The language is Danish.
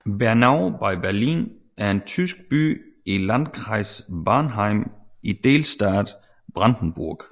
Bernau bei Berlin er en tysk by i Landkreis Barnim i delstaten Brandenburg